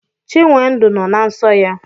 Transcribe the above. Chinwendu nọ na nsọ ya.